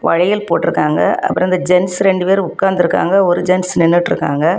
வளையல் போற்றுக்கங்க அப்ரோ அந்த ஜென்ஸ் ரெண்டு பேர் உக்காந்திருக்காங்க ஒரு ஜென்ஸ் நின்னுட்ருக்காங்க.